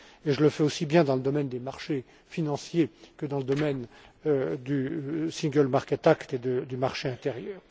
Et je le fais aussi bien dans le domaine des marchés financiers que dans le domaine du single market act et du marché intérieur.